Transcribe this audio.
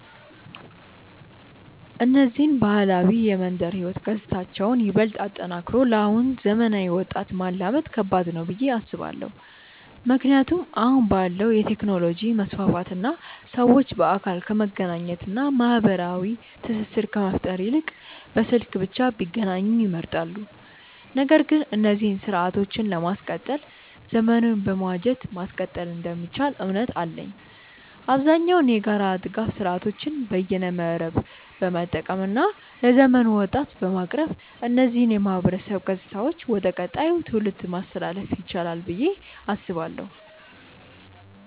እነዚህን ባህላዊ የመንደር ህይወት ገጽታዎችን ይበልጥ አጠናክሮ ለአሁኑ ዘመናዊ ወጣት ማላመድ ከባድ ነው ብዬ አስባለው። ምክንያቱም አሁን ባለው የቴክኖሎጂ መስፋፋት እና ሰዎች በአካል ከመገናኘት እና ማህበራዊ ትስስር ከመፍጠር ይልቅ በስልክ ብቻ ቢገናኙ ይመርጣሉ። ነገር ግን እነዚህን ስርአቶችን ለማስቀጠል ዘመኑን በመዋጀት ማስቀጠል እንደሚቻል እምነት አለኝ። አብዛኛውን የጋራ ድጋፍ ስርአቶችን በይነመረብን በመጠቀም እና ለዘመኑ ወጣት በማቅረብ እነዚህን የማህበረሰብ ገጽታዎች ወደ ቀጣዩ ትውልድ ማስተላለፍ ይቻላል ብዬ አስባለው።